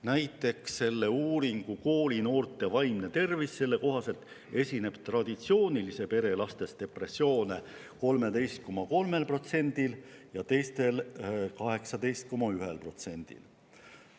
Näiteks uuringu "Koolinoorte vaimne tervis" kohaselt esineb traditsioonilise pere lastest depressiooni 13,3%‑l ja teistel 18,1%‑l.